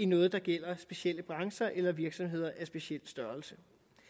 noget der gælder specielle brancher eller virksomheder af en speciel størrelse